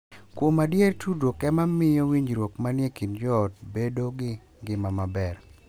Kuom adier, tudruok e ma miyo winjruok ma ni e kind joot bedo gi ngima maber.